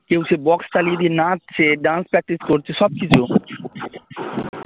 কেউ সেই বক্স চালিয়ে দিয়ে নাচছে dance practice করছে সব কিছু